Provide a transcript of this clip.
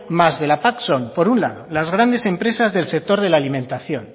más de la pac son por un lado las grandes empresas del sector de la alimentación